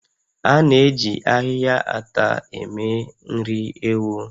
A na-eji ahịhịa ata eme nri ewu